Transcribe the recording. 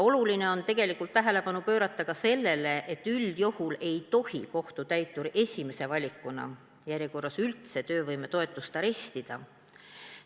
Oluline on tegelikult tähelepanu pöörata ka sellele, et üldjuhul ei tohi kohtutäitur järjekorras esimese valikuna üldse töövõimetoetust arestida.